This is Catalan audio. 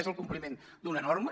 és el compliment d’una norma